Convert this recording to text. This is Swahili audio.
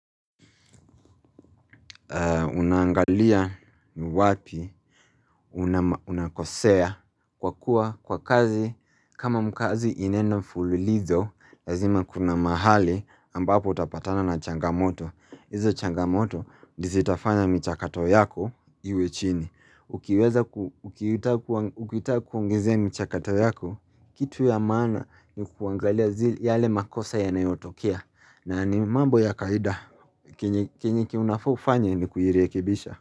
Unangalia ni wapi unakosea kwa kwa kazi kama mkazi inaenda mfuli lizo lazima kuna mahali ambapo utapatana na changamoto Izo changamoto nizitafanya michakato yako iwe chini Ukiweza ukuita kuongezea michakato yako kitu ya maana ni kuangalia zile yale makosa yanayotokia na ni mambo ya kaida Kinyiki unafofanye ni kuhiriekibisha.